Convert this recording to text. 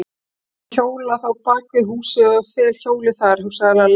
Jæja, ég hjóla þá bak við húsið og fel hjólið þar, hugsaði Lalli.